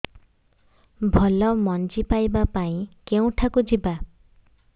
ଭଲ ମଞ୍ଜି ପାଇବା ପାଇଁ କେଉଁଠାକୁ ଯିବା